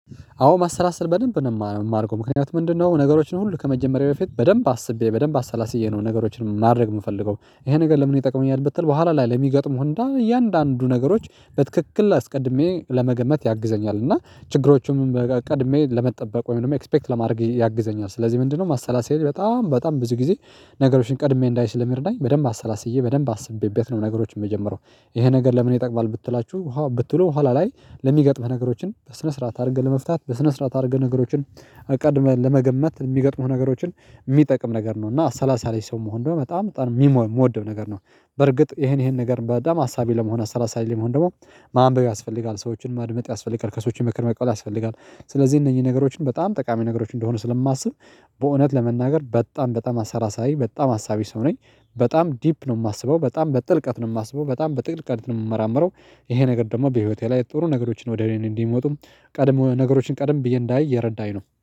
አዎ ማሰላሰል በደንብ ነው። የማረገው ምክንያቱም ምንድነው ነገሮችን ሁሉ ከመጀመሬ በፊት በደንብ አስቤ በደንብ አሰላስዬ ነው። ነገሮችን ማድረግ የምፈልገው ይሄ ነገር ለምን ይጠቅመኛል ብትል በኋላ ላይ ለሚገጥሙህ እንዳ እያንዳንዱ ነገሮች በትክክል አስቀድሜ ለመገመት ያግዘኛል እና ችግሮቹንም ቀድሜ ለመጠበቅ ወይም ደግሞ ኤክስፔክት ለማድረግ ያግዘኛል። ስለዚህ ምንድነው ማሰላሰሌ በጣም በጣም ብዙ ጊዜ ነገሮችን ቀድሜ እንዳይ ስለሚረዳኝ በደንብ አሰላስዬ በደንብ አስቤበት ነው። ነገሮችን የምጀመረው። ይሄ ነገር ለምን ይጠቅማል ብትላችሁ ብትሉ ኋላ ላይ ለሚገጥምህ ነገሮችን በስነ ስርዓት አድርገህ ለመፍታት በስነ ስርዓት አድርገህ ነገሮችን ቀድመህ ለመገመት የሚገጥሙህ ነገሮችን የሚጠቅም ነገር ነው። እና አሰላሳይ ሰው መሆን እንደውም በጣም በጣም የምወደው ነገር ነው። በርግጥ ይሄን ይሄን ነገር በጣም አሳቢ ለመሆን አሰላሳይ ለመሆን ደግሞ ማንበብ ያስፈልጋል ሰዎችን ማድመጥ ያስፈልጋል ከሰዎችም ምክር መቀበል ያስፈልጋል። ስለዚህ እነዚህ ነገሮችን በጣም ጠቃሚ ነገሮች እንደሆኑ ስለማስብ በእውነት ለመናገር በጣም በጣም አሰላሳይ በጣም አሳቢ ሰው ነኝ። በጣም ዲፕ ነው የማስበው በጣም በጥልቀት ነው የማስበው በጣም በጥልቀት ነው የምመራመረው። ይሄ ነገር ደግሞ በህይወቴ ላይ ጥሩ ነገሮችን ወደ እኔ እንዲመጡም ቀድሞ ነገሮችን ቀድም ብዬ እንዳይ እየረዳኝ ነው